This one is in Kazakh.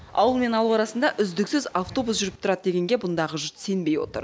ауылмен ауыл арасында үздіксіз автобус жүріп тұрады дегенге бұндағы жұрт сенбей отыр